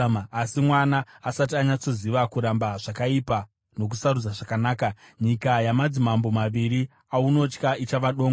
Asi mwana asati anyatsoziva kuramba zvakaipa nokusarudza zvakanaka, nyika yamadzimambo maviri aunotya ichava dongo.